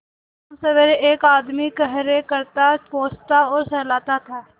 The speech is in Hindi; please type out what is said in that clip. शामसबेरे एक आदमी खरहरे करता पोंछता और सहलाता था